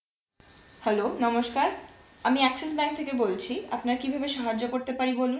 Hello নমস্কার আমি Axis bank থেকে বলছি আপনার কিভাবে সাহায্য করতে পারি বলুন